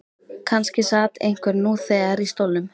Kannski sat einhver nú þegar í stólnum.